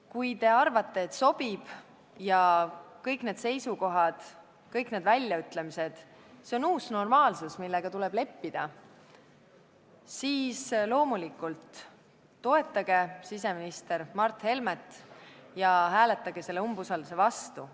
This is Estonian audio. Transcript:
Kui te arvate, et sobib ja kõik need seisukohad, kõik need väljaütlemised on uus normaalsus, millega tuleb leppida, siis loomulikult toetage siseminister Mart Helmet ja hääletage tema umbusaldamise vastu.